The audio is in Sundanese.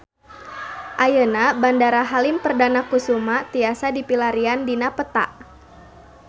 Ayeuna Bandara Halim Perdana Kusuma tiasa dipilarian dina peta